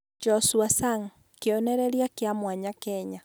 Joshua Sang: Kĩonereria kĩa mwanya Kenya